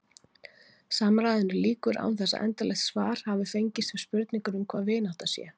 Samræðunni lýkur án þess að endanlegt svar hafi fengist við spurningunni hvað vinátta sé.